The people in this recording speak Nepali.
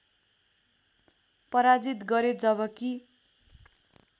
पराजित गरे जबकि